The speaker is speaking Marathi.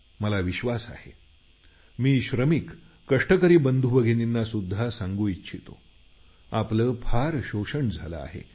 मला विश्वास आहे मी श्रमिक कष्टकरी बंधुभगिनींना सुध्दा सांगू इच्छितो की आपलं फार शोषण झालं आहे